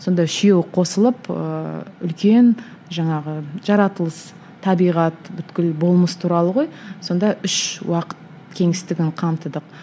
сонда үшеуі қосылып ыыы үлкен жаңағы жаратылыс табиғат болмыс туралы ғой сонда үш уақыт кеңістігін қамтыдық